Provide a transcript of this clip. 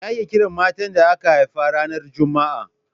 Me ake kiran matar da aka haifa ranar Juma'a?